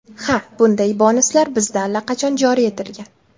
Ha, bunday bonuslar bizda allaqachon joriy etilgan.